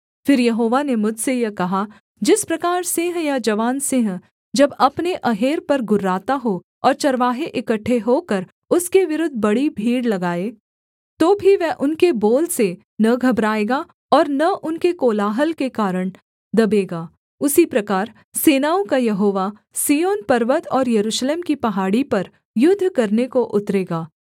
फिर यहोवा ने मुझसे यह कहा जिस प्रकार सिंह या जवान सिंह जब अपने अहेर पर गुर्राता हो और चरवाहे इकट्ठे होकर उसके विरुद्ध बड़ी भीड़ लगाएँ तो भी वह उनके बोल से न घबराएगा और न उनके कोलाहल के कारण दबेगा उसी प्रकार सेनाओं का यहोवा सिय्योन पर्वत और यरूशलेम की पहाड़ी पर युद्ध करने को उतरेगा